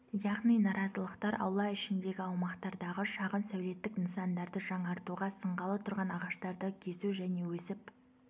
яғни наразылықтар аула ішіндегі аумақтардағы шағын сәулеттік нысандарды жаңартуға сынғалы тұрған ағаштарды кесу және өсіп